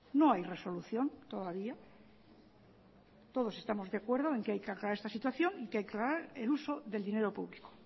no hay resolución todavía todos estamos de acuerdo en que hay que aclarar esta situación y que hay que aclarar el uso del dinero público